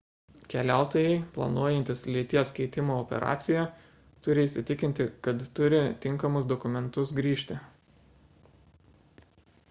keliautojai planuojantys lyties keitimo operaciją turi įsitikinti kad turi tinkamus dokumentus grįžti